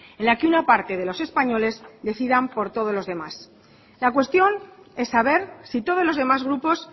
en la que una parte de los españoles decidan por todos los demás la cuestión es saber si todos los demás grupos